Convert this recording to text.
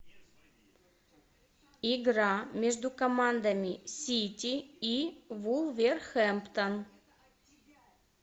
игра между командами сити и вулверхэмптон